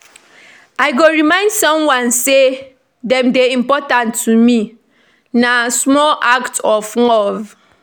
I go remind someone say dem dey important to me; na small act of love.